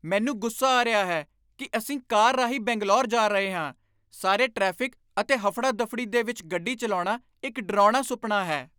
ਮੈਨੂੰ ਗੁੱਸਾ ਆ ਰਿਹਾ ਹੈ ਕੀ ਅਸੀਂ ਕਾਰ ਰਾਹੀਂ ਬੰਗਲੌਰ ਜਾ ਰਹੇ ਹਾਂ ਸਾਰੇ ਟ੍ਰੈਫਿਕ ਅਤੇ ਹਫੜਾ ਦਫੜੀ ਦੇ ਵਿੱਚ ਗੱਡੀ ਚੱਲਾਉਣਾ ਇੱਕ ਡਰਾਉਣਾ ਸੁਪਨਾ ਹੈ!